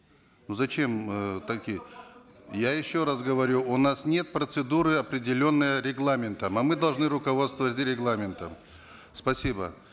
ну зачем э такие я еше раз говорю у нас нет процедуры определенной регламентом а мы должны руководствоваться регламентом спасибо